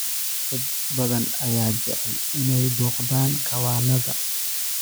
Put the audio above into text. Dad badan ayaa jecel inay booqdaan kawaannada.